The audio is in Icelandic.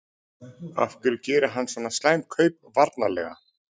Af hverju gerir hann svona slæm kaup varnarlega?